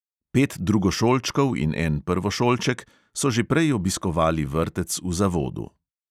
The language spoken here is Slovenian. Pet drugošolčkov in en prvošolček so že prej obiskovali vrtec v zavodu.